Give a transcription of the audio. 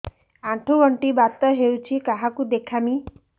ଆଣ୍ଠୁ ଗଣ୍ଠି ବାତ ହେଇଚି କାହାକୁ ଦେଖାମି